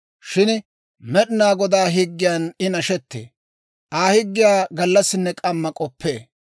Shin Med'inaa Godaa higgiyan I nashettee; Aa higgiyaa gallassinne k'amma k'oppee.